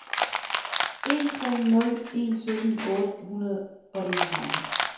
en tre nul en sytten otte hundrede og enogtredive